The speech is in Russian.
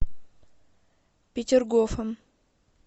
петергофом